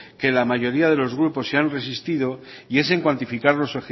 que la mayoría de los grupos se han resistido y es en cuantificar los